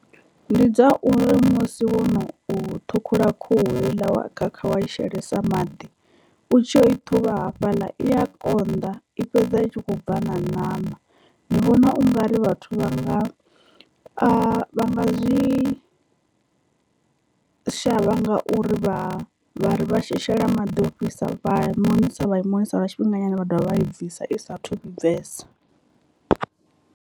Ndi dza uri musi wo no u ṱhukhula khuhu heiḽa wa khakha wa i shelesa maḓi u tshi yo i ṱhuvha hafhaḽa i ya konḓa i fhedza itshi kho bva na ṋama, ndi vhona ungari vhathu vha nga vha nga zwi shavha ngauri vha vha vha shela maḓi ofhisa vha monisa vha i monisa lwa tshifhinga nyana vha dovha vha i bvisa i saathu vhibvesa.